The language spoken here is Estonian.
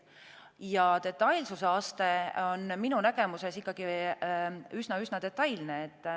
Ja detailsuse aste on minu nägemuses ikkagi üsna-üsna detailne.